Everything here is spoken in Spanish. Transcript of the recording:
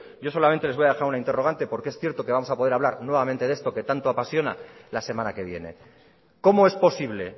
yo solamente les voy a dejar una interrogante porque es cierto que vamos a poder hablar nuevamente de esto que tanto apasiona la semana que viene cómo es posible